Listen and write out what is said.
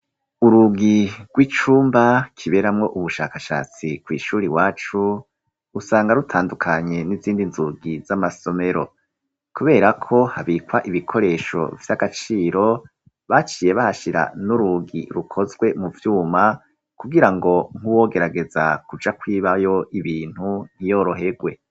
Urugi rw'icumba kiberamwo ubushakashatsi kw' ishuri iwacu usanga rutandukanye n'izindi nzugi z'amasomero. Kubera ko habikwa ibikoresho vy'agaciro, baciye bahashira n'urugi rukozwe mu vyuma kugirango nkuwogerageza kuja kw'ibayo ibintu ntiyorohegwe.